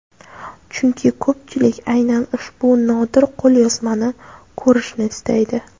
Chunki ko‘pchilik aynan ushbu nodir qo‘lyozmani ko‘rishni istaydi.